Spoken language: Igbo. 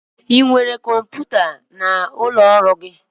Ị nwere kọmputa n'ụlọ ọrụ gị?